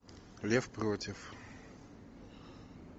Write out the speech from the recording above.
лев против